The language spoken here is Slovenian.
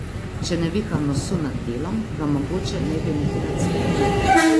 Če ne viha nosu nad delom, ga mogoče ne bi niti nad smetmi.